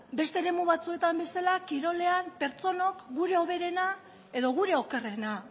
beste eremu batzuetan bezala kirolean pertsonok gure hoberena edo gure okerrena